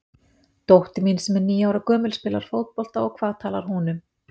Dóttir mín sem er níu ára gömul spilar fótbolta og hvað talar hún um?